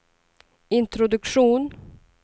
introduktion